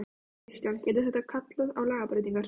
Kristján: Gæti þetta kallað á lagabreytingar?